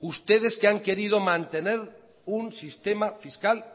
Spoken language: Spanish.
ustedes que han querido mantener un sistema fiscal